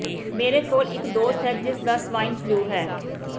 ਮੇਰੇ ਕੋਲ ਇੱਕ ਦੋਸਤ ਹੈ ਜਿਸਦਾ ਸਵਾਈਨ ਫ਼ਲੂ ਹੈ